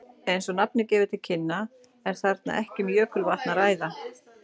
Eins og nafnið gefur til kynna er þarna ekki um jökulvatn að ræða.